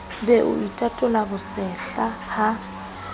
be o itatola bosehla ha